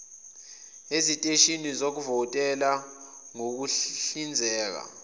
eziteshini zokuvotela ngokuhlinzeka